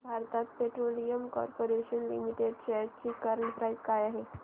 Bharat petroleum corporation limited shares ची current price काय आहे